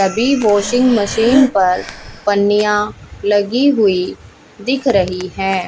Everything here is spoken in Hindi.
अभी वाशिंग मशीन पर पन्नियां लगी हुई दिख रही है।